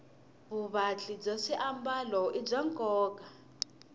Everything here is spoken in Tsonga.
vuvatli bya swiambalo i bya nkoka